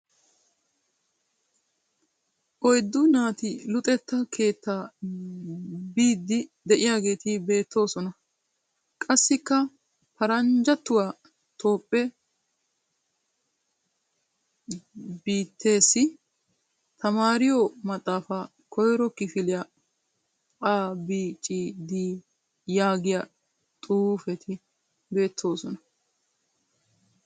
Oyiddu naati luxetta keettaa biiddi diyageeti beettoosona. Qassikka "paranjjattuwa tophphee biitteessi, tamaariyo maxxaafaa, koyiro kifiliya, A B C D" yaagiya xuufeti beettoosona.